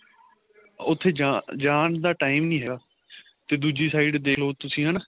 ਉੱਥੇ ਜਾਣ ਜਾਣ ਦਾ time ਨੀਂ ਹੈਗਾ ਤੇ ਦੂਜੀ side ਦੇਖਲੋ ਤੁਸੀਂ ਹਨਾ